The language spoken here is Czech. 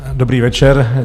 Dobrý večer.